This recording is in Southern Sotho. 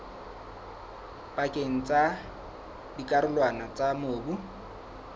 pakeng tsa dikarolwana tsa mobu